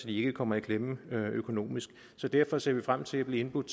ikke kommer i klemme økonomisk derfor ser vi frem til at blive indbudt